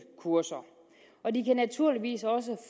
kurser og de kan naturligvis også